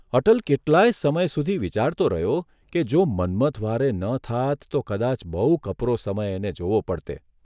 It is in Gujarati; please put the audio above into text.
અટલ કેટલાયે સમય સુધી વિચારતો રહ્યો કે જો મન્મથ વ્હારે ન થાત તો કદાચ બહુ કપરો સમય એને જોવો પડતે.